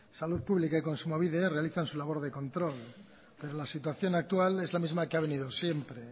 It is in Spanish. salud pública y kontsumobide realizan su labor de control pero la situación actual es la misma que ha venido siempre